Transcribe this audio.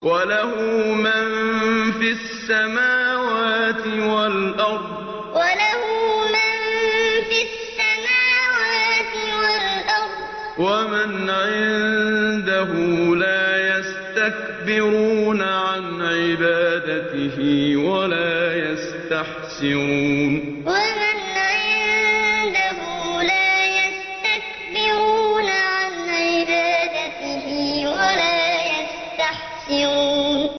وَلَهُ مَن فِي السَّمَاوَاتِ وَالْأَرْضِ ۚ وَمَنْ عِندَهُ لَا يَسْتَكْبِرُونَ عَنْ عِبَادَتِهِ وَلَا يَسْتَحْسِرُونَ وَلَهُ مَن فِي السَّمَاوَاتِ وَالْأَرْضِ ۚ وَمَنْ عِندَهُ لَا يَسْتَكْبِرُونَ عَنْ عِبَادَتِهِ وَلَا يَسْتَحْسِرُونَ